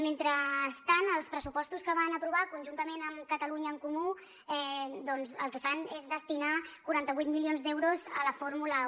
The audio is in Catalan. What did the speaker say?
mentrestant els pressupostos que van aprovar conjuntament amb catalunya en comú doncs el que fan és destinar quaranta vuit milions d’euros a la fórmula un